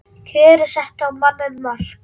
Kjörin settu á manninn mark